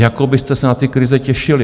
Jako byste se na ty krize těšili!